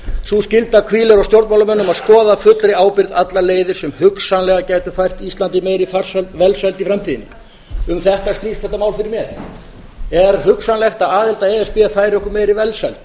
sú skylda hvílir á stjórnmálamönnum að skoða af fullri ábyrgð allar leiðir sem hugsanlega gætu fært íslandi meiri velsæld í framtíðinni um þetta snýst þetta mál fyrir mér er hugsanlegt að aðild að e s b færi okkur íslendingum meiri velsæld